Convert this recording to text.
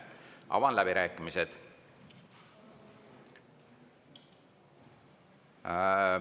Avan läbirääkimised.